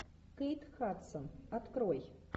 кейт хадсон открой